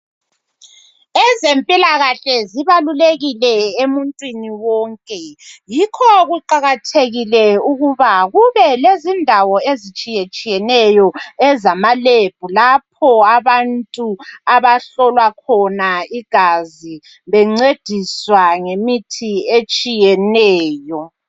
Ezempilakahle zibalulekile emuntwini wonke, yikho kuqakathekile ukuba akube lezindawo ezitshiya tshiyeneyo ezama Lebhu lapho abantu abahlolwa khona igazi bencediswa ngemithi etshiyeneyo.